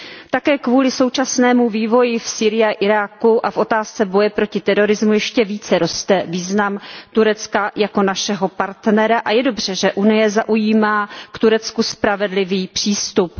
Také kvůli současnému vývoji v Sýrii a Iráku a v otázce boje proti terorismu ještě více roste význam Turecka jako našeho partnera a je dobře, že Unie zaujímá k Turecku spravedlivý přístup.